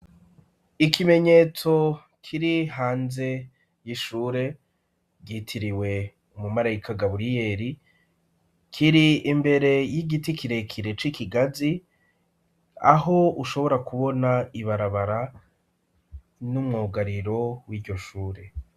Ikimenyetso kiri hanze y'ishure, ryitiriwe umarayika Gaburiyeri, kiri imbere y'igiti kirekire c'ikigazi, aho ushobora kubona ibarabara, n'umwugariro w'iryo shure.